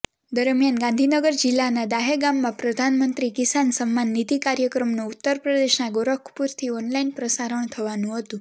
દરમિયાન ગાંધીનગર જિલ્લાના દહેગામમાં પ્રધાનમંત્રી કિસાન સન્માન નીધિ કાર્યક્રમનું ઉત્તરપ્રદેશના ગોરખપુરથી ઓનલાઇન પ્રસારણ થવાનુ હતું